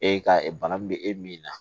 E ka bana min bɛ e min na